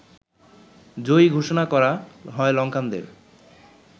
জয়ী ঘোষণা করা হয় লংকানদের